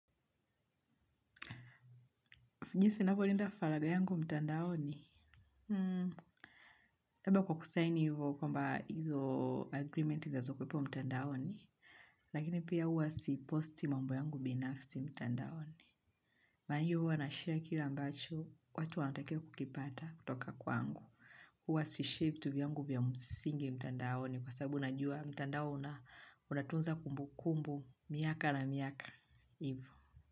Fijisi ninavyolinda falaga yangu mtandaoni. Kwa kusaini hivyo kwamba hizo agreement za zuko ipo mtandaoni. Lakini pia huwa si posti mambo yangu binafsi mtandaoni. Maayu huwa na share kila mbacho watu hawanatikiwi kukipata kutoka kwangu. Huwa si shape vitu yangu vya msingi mtandaoni kwa sababu najua mtandao una unatunza kumbu kumbu miaka na miaka hivyo.